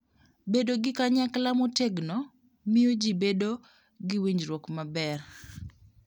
Bedo gi Kanyakla Motegno: Miyo ji bedo gi winjruok maber.